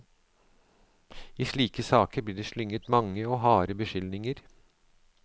I slike saker blir det slynget mange og harde beskyldninger.